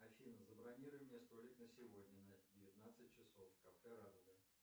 афина забронируй мне столик на сегодня на девятнадцать часов в кафе радуга